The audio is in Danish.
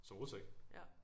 Til rus ik